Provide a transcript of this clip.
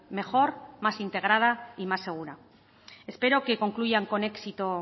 mejor más integrada y más segura espero que concluyan con éxito